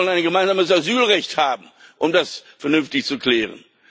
Wir wollen ein gemeinsames Asylrecht haben, um das vernünftig zu klären.